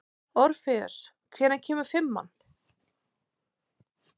Orfeus, hvenær kemur fimman?